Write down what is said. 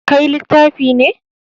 Kai littafi ne.